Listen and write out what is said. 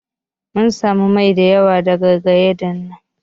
Mun samu mai da yawa daga gyadan nan.